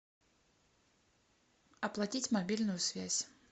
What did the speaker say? оплатить мобильную связь